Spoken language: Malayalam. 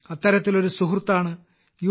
അത്തരത്തിലൊരു സുഹൃത്താണ് യു